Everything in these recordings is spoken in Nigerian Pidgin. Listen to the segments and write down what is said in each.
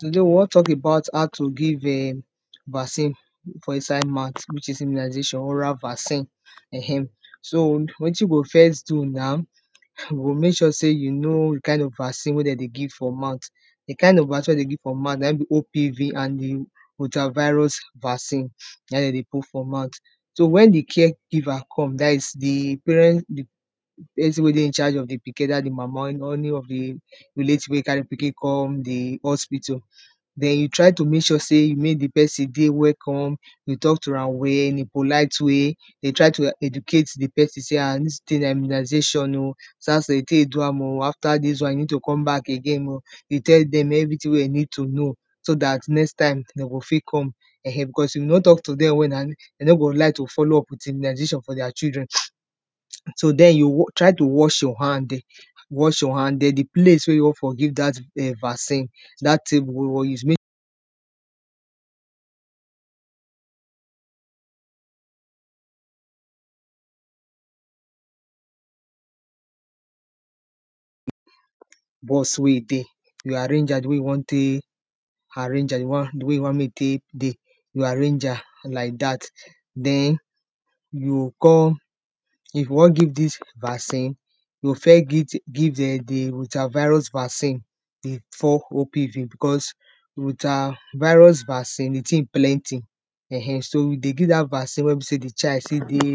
toda we won talk about how to gie um vaccin for inside mouth whivh is immunazation oral accin um so wetin we go first do naw, we go mek sure sey you go know di kind of vaccine we dey give for mouth di kind of vaccin wey we dey give for mouth na in be obv and ultra-virus vaccin na in de dey put for mouth. so wen di care giver come dat is di parent, pesin wey dey in charge of di pikin weda d mama or d any of d relatives wey carr pikin come di hospital, den you try to mek sre sey mey di pesin dey welcome, you talk to am well in a polite way, de try to educate di pesin, sey [um]dis tin na immunazation oh after dis dwan you ned to come back again oh e tell dem everitin wey dem need to know so dat next time, de go fit come because if you no talk to dem well, de no go like to follow up with immunization for deir children. so den you try to wash your hand wash your hand den di place wne you won for give dat um vaccin dat tabel wey you won use bus wey e dey we arrange am di way e tek arange di way wey we won mek e tek dey we o arrange am like dat. den, you kon if you won gie dis vaccin, you go first give dem fdi ultravirus vaccin befor opv because di ultravirus vaccin d tin plenti dey give da vaccin wen be sey di child fi dey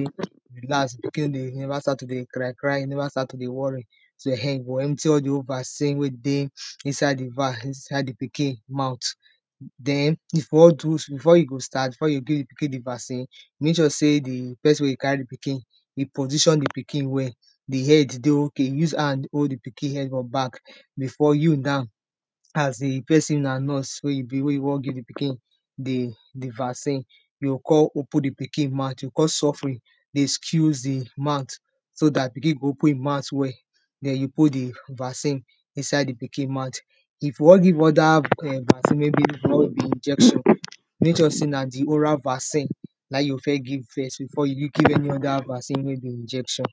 relax mek e never start to dey cry cry mek e neva start to dey worry, so e go empty all thoe vacin wey dey inside di inside di piki mouth den before you go start before you begin di vaccine mek sure sey pesin wey e carry di pikin mek position di pikin very well, di head dey ok, use hand hold di pikin head for back before you now as a pesin na nurse wey you won giv di pikin di vaccin. you o kon open di pikin to kon suffery dey squiz di mouth so dat pikin go open e mouth well den you put di vaccine inside di ikin mout.if you won give other injection, mek sure sey na di oral vaccine na in you o first give first before you o fit give any other vaccin where be injection.